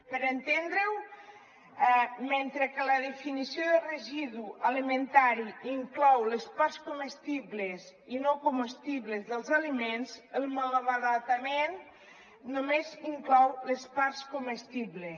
per entendre ho mentre que la definició de residu alimentari inclou les parts comestibles i no comestibles dels aliments el malbaratament només inclou les parts comestibles